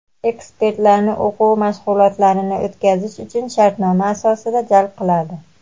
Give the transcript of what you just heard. ekspertlarini o‘quv mashg‘ulotlarini o‘tkazish uchun shartnoma asosida jalb qiladi.